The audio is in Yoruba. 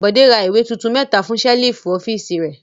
Bọ̀dé ra ìwé tuntun mẹ́ta fún ṣẹ́lífù ọ́fíísì rẹ̀.